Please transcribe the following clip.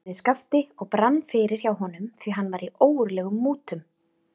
spurði Skapti og brann fyrir hjá honum, því hann var í ógurlegum mútum.